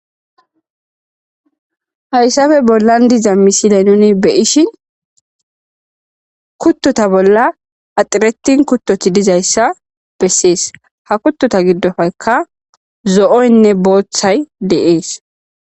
Haysape bolan dizza misile nuni beyishin kutota bola axaretin kutoti dizayssa besees.ha kutota gidope zo'ynne bothay dees.